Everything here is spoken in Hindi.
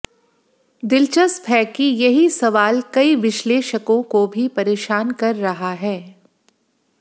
दिलचस्प है कि यही सवाल कई विश्लेषकों को भी परेशान कर रहा है